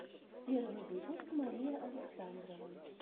первый выпуск мария александрова